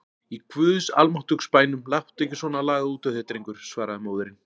Í guðs almáttugs bænum láttu ekki svona lagað út úr þér drengur, svaraði móðirin.